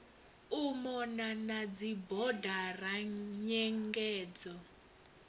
u mona na dzibodara nyengedzo